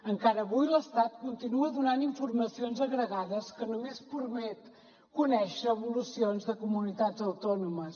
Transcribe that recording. encara avui l’estat continua donant informacions agregades que només permet conèixer evolucions de comunitats autònomes